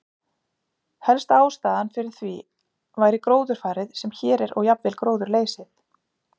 Helsta ástæðan fyrir því væri gróðurfarið sem hér er og jafnvel gróðurleysið.